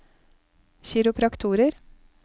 kiropraktorer